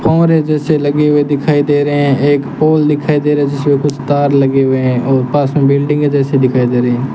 फव्वारे जैसे लगे हुए दिखाई दे रहा हैं एक पोल दिखाई दे रहा है जिसमें कुछ तार लगे हुए हैं और पास में बिल्डिंगे जैसे दिखाई दे रही हैं।